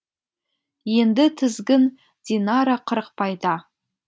енді тізгін динара қырықбайда